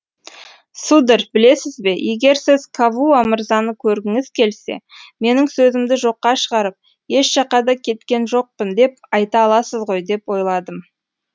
сударь білесіз бе егер сіз кавуа мырзаны көргіңіз келсе менің сөзімді жоққа шығарып еш жаққа да кеткен жоқпын деп айта аласыз ғой деп ойладым